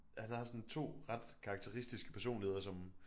Han har sådan 2 ret karakteristiske personligheder som